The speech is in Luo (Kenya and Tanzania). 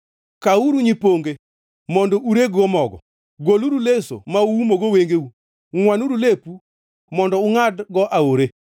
Kawuru nyiponge mondo ureg-go mogo; goluru leso ma uumogo wengeu. Ngʼwanuru lepu mondo ungʼadgo aore.